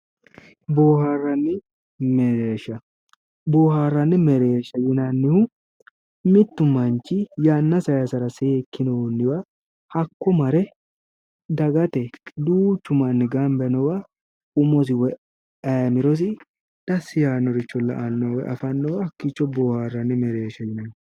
Booharanni mereersha, bioharanni mereersha yinnannihu mitu manchi yanna saysara seekkinoniwa hakko mare dagate duuchu manni gamba yiinnowa umosi woyi ayiimirosi dasi yaanore la"anowa booharanni mereersha